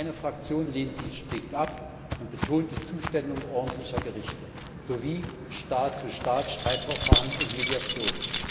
Meine Fraktion lehnt dies strikt ab und betont die Zuständigkeit ordentlicher Gerichte sowie Staat zu Staat Streitverfahren und Mediationen.